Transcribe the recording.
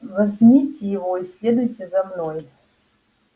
возьмите его и следуйте за мной